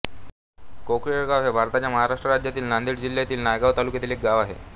कोकळेगाव हे भारताच्या महाराष्ट्र राज्यातील नांदेड जिल्ह्यातील नायगाव तालुक्यातील एक गाव आहे